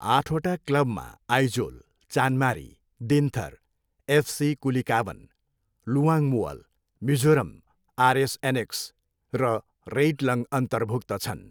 आठवटा क्लबमा Aizawl, Chanmari, Dinthar, FC Kulikawn, Luangmual, Mizoram, RS annexe र रेइटलङ अन्तर्भुक्त छन्।